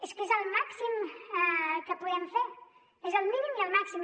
és que és el màxim que podem fer és el mínim i el màxim